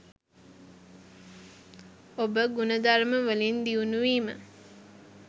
ඔබ ගුණධර්ම වලින් දියුණු වීම.